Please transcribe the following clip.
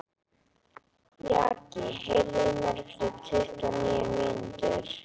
Jaki, heyrðu í mér eftir tuttugu og níu mínútur.